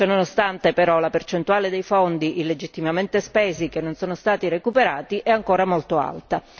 Ciononostante, però, la percentuale dei fondi illegittimamente spesi che non sono stati recuperati è ancora molto alta.